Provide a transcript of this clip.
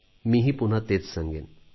मीही पुन्हा तेच सांगेन